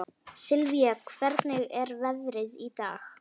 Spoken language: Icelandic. Sylvia, hvernig er veðrið í dag?